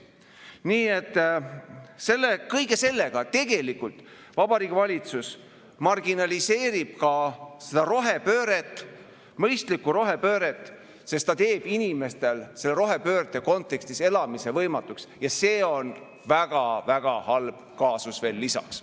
Nii et kõige sellega tegelikult Vabariigi Valitsus marginaliseerib ka seda rohepööret, mõistlikku rohepööret, sest ta teeb inimestel selle rohepöörde kontekstis elamise võimatuks ja see on väga-väga halb kaasus veel lisaks.